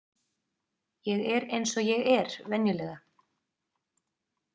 Ég er eins og ég er venjulega.